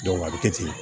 a bɛ kɛ ten